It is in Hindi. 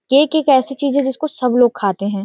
केक एक ऐसी चीज है जिसको सब लोग खाते हैं।